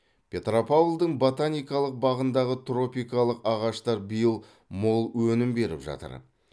петропавлдың ботаникалық бағындағы тропикалық ағаштар биыл мол өнім беріп жатыр